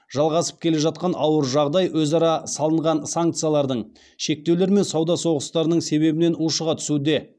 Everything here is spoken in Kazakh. жалғасып келе жатқан ауыр жағдай өзара салынған санкциялардың шектеулер мен сауда соғыстарының себебінен ушыға түсуде